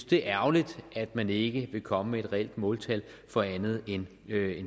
det er ærgerligt at man ikke vil komme med et reelt måltal for andet end